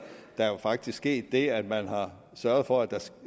er jo faktisk sket det at man har sørget for at